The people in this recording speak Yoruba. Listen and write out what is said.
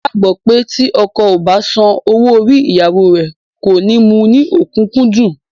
Wọn gbàgbó pé tí ọkọ o bá san owó orí ìyàwó rè, kò ní mu ní okunkundun